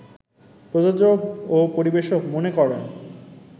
প্রযোজক ও পরিবেশক মনে করেন